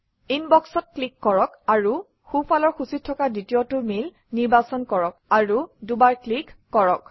ইনবক্সত ক্লিক কৰক আৰু সোঁফালৰ সূচীত থকা দ্বিতীয়টো মেইল নিৰ্বাচন কৰক আৰু দুবাৰ ক্লিক কৰক